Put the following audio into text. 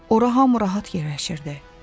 Ora hamı rahat yerləşirdi.